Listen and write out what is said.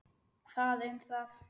Það um það.